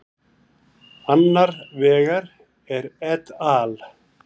Annar vegar er et al.